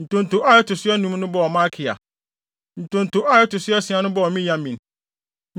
Ntonto a ɛto so anum no bɔɔ Malkia. Ntonto a ɛto so asia no bɔɔ Miyamin.